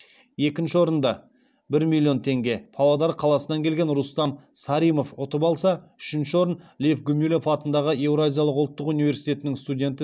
екінші орынды павлодар қаласынан келген рустам саримов ұтып алса үшінші орын лев гумилев атындағы еуразиялық ұлттық университетінің студенті